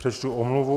Přečtu omluvu.